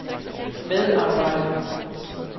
medarbejder